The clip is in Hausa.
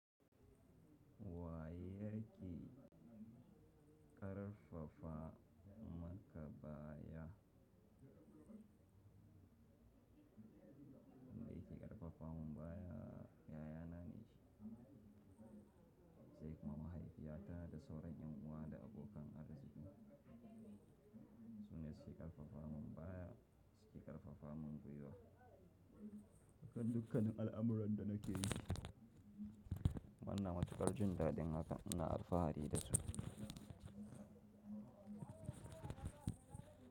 Wa yaƙe ƙarfafa maka baya? Me ke ƙarfafa mun baya? Yayana ne shi. Sai kuma mahaifiyata da sauran yan'uwa da abokan arziki. Sunne suke ƙarfafa mun baya, suke ƙarfafa mun guiwa. Dukkanin al'amuran da nake yi. Inna matuƙar jin daɗin haka ina alfahari da su.